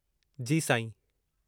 जी साईं।